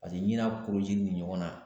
Paseke ɲi n'a ni de ɲɔgɔnna